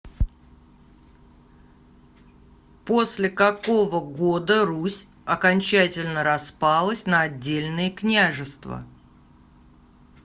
после какого года русь окончательно распалась на отдельные княжества